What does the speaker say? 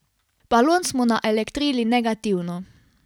Balon smo naelektrili negativno.